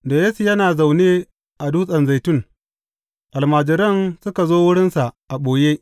Da Yesu yana zaune a Dutsen Zaitun, almajiran suka zo wurinsa a ɓoye.